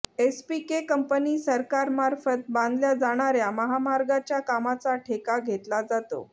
SPK company सरकारमार्फत बांधल्या जाणाऱ्या महामार्गाच्या कामाचा ठेका घेतला जातो